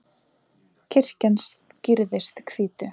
kirkjan skrýðist hvítu